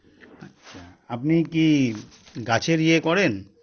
আচ্ছা আপনি কী গাছের ইয়ে করেন